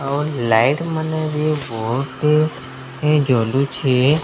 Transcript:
ଆଉ ଲାଇଟ୍ ମାନେ ବି ବତେ ଜଳୁଛେ।